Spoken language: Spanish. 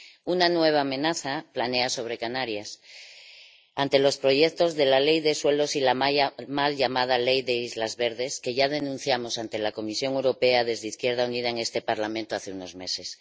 Una nueva amenaza planea sobre Canarias ante los proyectos de la ley de suelos y la mal llamada ley de islas verdes, que ya denunciamos ante la Comisión Europea desde Izquierda Unida en este Parlamento hace unos meses.